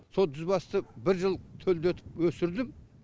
сол жүз басты бір жыл төлдетіп өсірдім